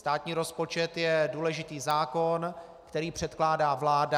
Státní rozpočet je důležitý zákon, který předkládá vláda.